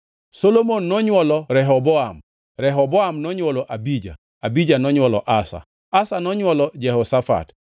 Solomon nonywolo Rehoboam, Rehoboam nonywolo Abija, Abija nonywolo Asa, Asa nonywolo Jehoshafat,